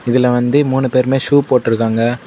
இதுல வந்து மூணு பேருமே ஷூ போட்டு இருக்காங்க.